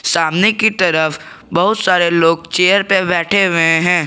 सामने की तरफ बहुत सारे लोग चेयर पे बैठे हुए हैं।